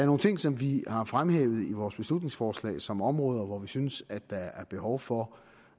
nogle ting som vi har fremhævet i vores beslutningsforslag som områder hvor vi synes at der er behov for